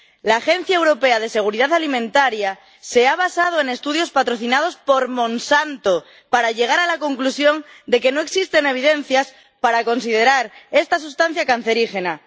La Autoridad Europea de Seguridad Alimentaria se ha basado en estudios patrocinados por Monsanto para llegar a la conclusión de que no existen evidencias para considerar esta sustancia como cancerígena.